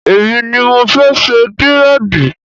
Èmi ni mo fẹ́ ṣe dírẹ̀dì